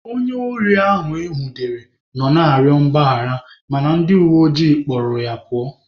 Onye ohi ahụ enwudere nọ na-arịọ mgbaghara mana ndị uweojii kpụrụ ya pụọ.